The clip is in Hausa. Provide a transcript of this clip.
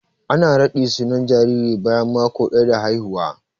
Ana raɗi sunan jariri bayan mako daya da haihuwa.